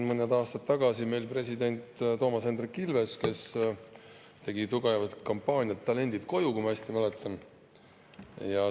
Mõned aastad tagasi tegi president Toomas Hendrik Ilves tugevat kampaaniat "Talendid koju!", kui ma õigesti mäletan.